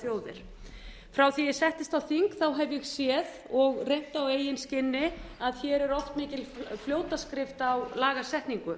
þjóðir frá því ég settist á þing hef ég séð og reynt á eigin skinni að hér er oft mikil fljótaskrift á lagasetningu